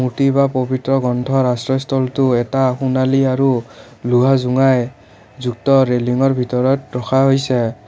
পবিত্ৰ গন্থৰ আশ্ৰয়ষ্ঠলটো এটা সোনালী আৰু লোহা জুঙাই যুক্ত ৰেলিৰ ভিতৰত ৰখা হৈছে।